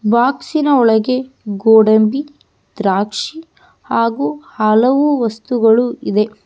ಬಾಕ್ಸಿನ ಒಳಗೆ ಗೋಡಂಬಿ ದ್ರಾಕ್ಶಿ ಹಾಗು ಹಲವು ವಸ್ತುಗಳು ಇದೆ.